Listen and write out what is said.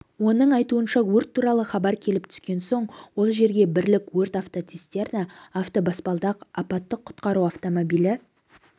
оның айтуынша өрт туралы хабар келіп түскен соң ол жерге бірлік өрт автоцистерна автобаспалдақ апаттық-құтқару автомобилі